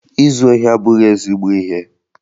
Izu ohi abụghị ezigbo ihe